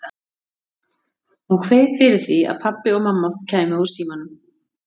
Hún kveið fyrir því að pabbi og mamma kæmu úr símanum.